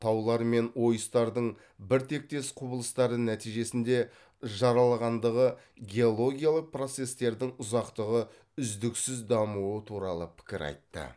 таулар мен ойыстардың біртектес құбылыстары нәтижесінде жаралғандығы геологиялық процестердің ұзақтығы үздіксіз дамуы туралы пікір айтты